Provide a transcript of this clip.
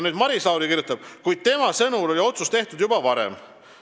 Maris Lauri sõnul oli aga otsus tehtud juba varem.